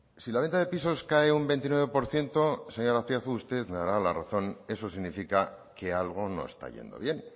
si la venta de pisos cae un veintinueve por ciento señor azpiazu usted me dará la razón eso significa que algo no está yendo bien